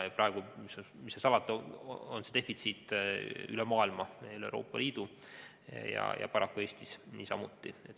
Praegu, mis seal salata, on defitsiit üle maailma, üle Euroopa Liidu ja paraku Eestis niisamuti.